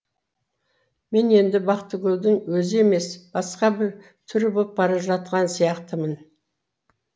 мен енді бақыткүлдің өзі емес басқа бір түрі болып бара жатқан сияқтымын